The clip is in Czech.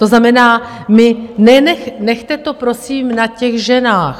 To znamená, nechte to prosím na těch ženách.